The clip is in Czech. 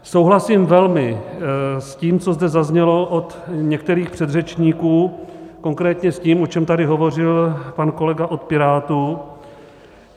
Souhlasím velmi s tím, co zde zaznělo od některých předřečníků, konkrétně s tím, o čem tady hovořil pan kolega od Pirátů.